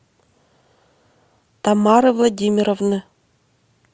тамары владимировны